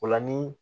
O la ni